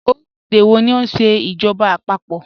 Ọ̀rílẹ̀-èdè wọ̀ ní o nṣẹ ijọba àpapọ̀?